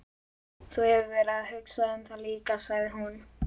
Þú hefur verið að hugsa um það líka, sagði hún.